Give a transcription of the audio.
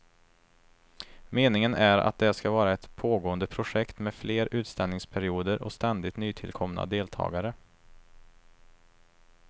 Meningen är att det ska vara ett pågående projekt med fler utställningsperioder och ständigt nytillkomna deltagare.